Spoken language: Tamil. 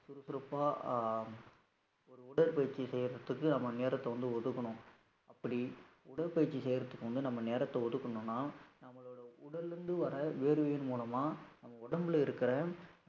சுறுசுறுப்பா ஆஹ் ஒரு உடற்பயிற்சி செய்யறதுக்கு நம்ம நேரத்தை வந்து ஒதுக்கணும், அப்படி உடற்பயிற்சி செய்யறதுக்கு வந்து நம்ம நேரத்தை ஒதுக்கணும்ன்னா நம்மளோட உடல்ல இருந்து வர்ற வியர்வையின் மூலமா நம்ம உடம்புல இருக்கற